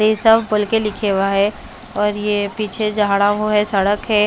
ये सब बोल के लिखे हुआ है और ये पीछे जाहड़ा वो है सड़क है।